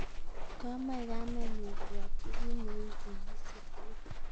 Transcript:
komoe kamenyun keyokyi kin ne u wikisyek tugul